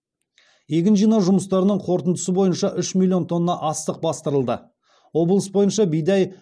егін жинау жұмыстарының қорытындысы бойынша үш миллион тонна астық бастырылды облыс бойынша бидай